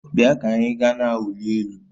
Bịa ka anyị gaa na-awụli elu